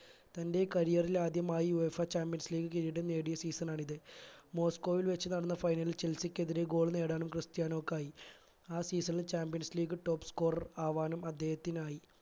തന്റെ career ൽ ആദ്യമായി UEFA champions league കിരീടം നേടിയ season ആണിത് മോസ്കോയിൽ വെച് നടന്ന final ചെൽസിക്കെതിരെ goal നേടാനും ക്രിത്യനോക്കായി ആ season ൽ champions league top scorer ആവാനും അദ്ദേഹത്തിനായി